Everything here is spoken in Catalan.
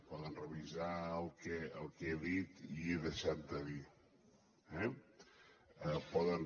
poden revisar el que he dit i he deixat de dir eh poden